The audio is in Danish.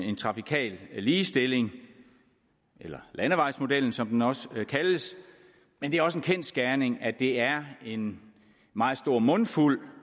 en trafikal ligestilling eller landevejsmodellen som den også kaldes men det er også en kendsgerning at det er en meget stor mundfuld